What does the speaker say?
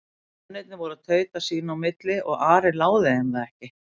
Mennirnir voru að tauta sína á milli og Ari láði þeim það ekki.